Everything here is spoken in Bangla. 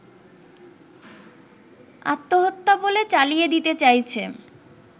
আত্মহত্যা বলে চালিয়ে দিতে চাইছে